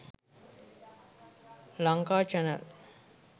lankachannel